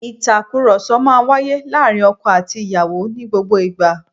Ìtàkùrọ̀sọ máa ń wáyé láàárín ọkọ àti ìyàwó ní gbogbo ìgbà